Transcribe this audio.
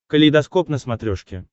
калейдоскоп на смотрешке